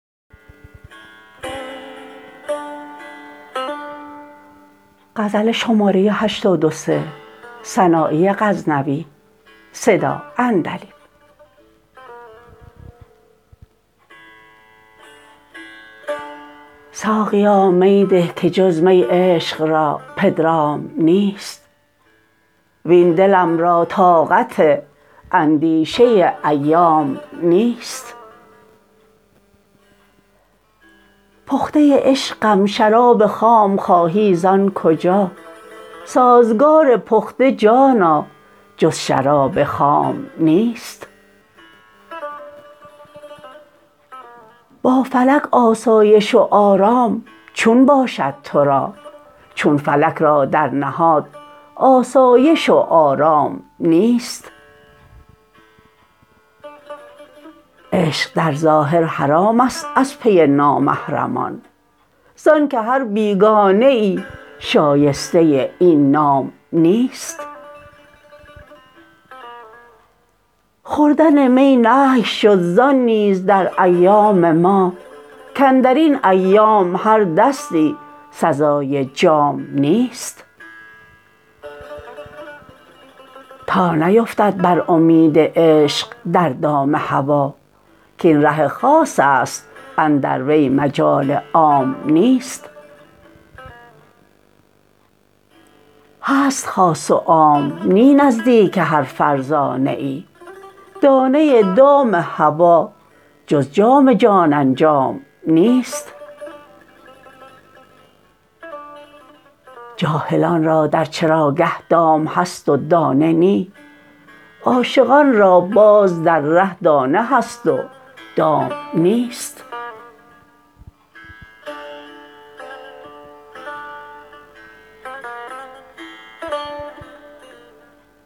ساقیا می ده که جز می عشق را پدرام نیست وین دلم را طاقت اندیشه ایام نیست پخته عشقم شراب خام خواهی زان کجا سازگار پخته جانا جز شراب خام نیست با فلک آسایش و آرام چون باشد ترا چون فلک را در نهاد آسایش و آرام نیست عشق در ظاهر حرامست از پی نامحرمان زان که هر بیگانه ای شایسته این نام نیست خوردن می نهی شد زان نیز در ایام ما کاندرین ایام هر دستی سزای جام نیست تا نیفتد بر امید عشق در دام هوا کاین ره خاصست اندر وی مجال عام نیست هست خاص و عام نی نزدیک هر فرزانه ای دانه دام هوا جز جام جان انجام نیست جاهلان را در چراگه دام هست و دانه نی عاشقان را باز در ره دانه هست و دام نیست